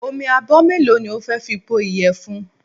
Omi abọ́ mélòó ni o fẹ́ fi po ìyẹ̀fun?